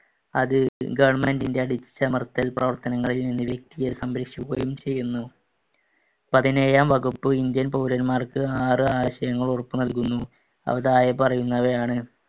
അത് government ന്‍റെ അടിച്ചമർത്തൽ പ്രവർത്തനങ്ങളിൽ നിന്ന് വ്യക്തിയെ സംരക്ഷിക്കുകയും ചെയ്യുന്നു. പതിനേഴാം വകുപ്പ് ഇന്ത്യൻ പൗരൻമാർക്ക് ആറ് ആശയങ്ങൾ ഉറപ്പു നൽകുന്നു. അവ താഴെ പറയുന്നവയാണ്.